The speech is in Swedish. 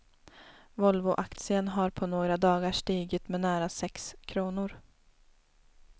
Volvoaktien har på några dagar stigit med nära sex kronor.